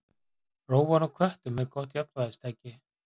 Rófan á köttum er gott jafnvægistæki.